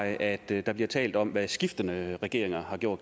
at der bliver tale om hvad skiftende regeringer har gjort